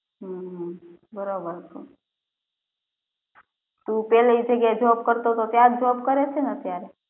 હમ્મ બરાબર છે તું પેલી જગ્યા એ job કરે છે ત્યાંજ job કરે છે ને અત્યારે